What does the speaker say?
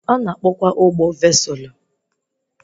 Ana akpọ kwa ụgbọ vesụlụ